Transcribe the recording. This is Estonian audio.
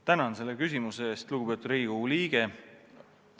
Tänan selle küsimuse eest, lugupeetud Riigikogu liige!